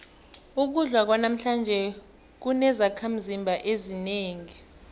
ukudla kwanamhlanje akunazakhimzimba ezinengi